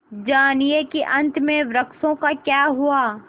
जानिए कि अंत में वृक्षों का क्या हुआ